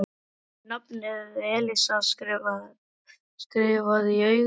Var ekki nafnið Elísa skrifað í augun á Lúlla?